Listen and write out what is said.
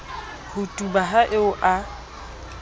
ho tuba ha eo a